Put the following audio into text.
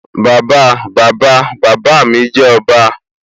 Bàbáa Bàbáa bàbá mi jẹ́ ọba